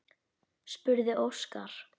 spurði Óskar.